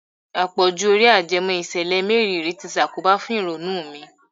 Àpọ̀jù Eré ajẹmọ́ ìṣẹ̀lẹ̀ mériìrí ti ṣàkóbà fún ìrònú mi.